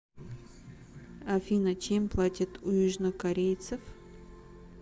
афина чем платят у южнокорейцев